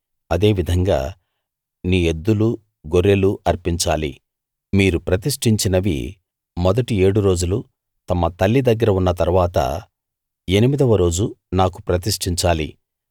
అదే విధంగా నీ ఎద్దులు గొర్రెలు అర్పించాలి మీరు ప్రతిష్ఠించినవి మొదటి ఏడు రోజులు తమ తల్లి దగ్గర ఉన్న తరువాత ఎనిమిదవ రోజు నాకు ప్రతిష్ఠించాలి